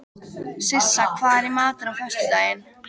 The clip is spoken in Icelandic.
Sissa, hvað er í matinn á föstudaginn?